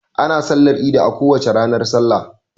Ana sallar idi a kowace ranar salla.